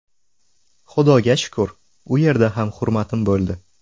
Xudoga shukr u yerda ham hurmatim bo‘ldi.